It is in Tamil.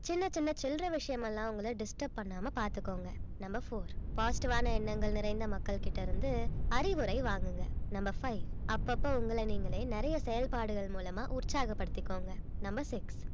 சின்ன சின்ன சில்லறை விஷயமெல்லாம் உங்கள distrub பண்ணாம பாத்துக்கோங்க number four positive ஆன எண்ணங்கள் நிறைந்த மக்கள் கிட்ட இருந்து அறிவுரை வாங்குங்க number five அப்பப்ப உங்களை நீங்களே நிறைய செயல்பாடுகள் மூலமா உற்சாகப்படுத்திக்கோங்க number six